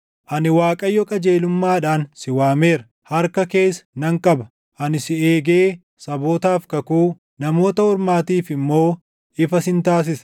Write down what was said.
“Ani Waaqayyo qajeelummaadhaan si waameera; harka kees nan qaba. Ani si eegee sabootaaf kakuu, Namoota Ormaatiif immoo ifa sin taasisa;